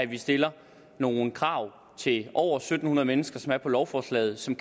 vi stiller nogle krav til over syv hundrede mennesker som er på lovforslaget og som